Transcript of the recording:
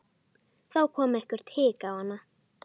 Þá kom eitthvert hik á hana.